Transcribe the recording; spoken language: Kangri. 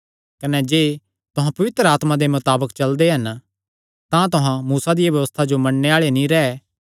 कने जे तुहां पवित्र आत्मा दे मताबक चलदे हन तां तुहां मूसा दिया व्यबस्था जो मन्नणे आल़े नीं रैह्